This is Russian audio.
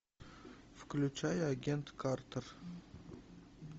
включай агент картер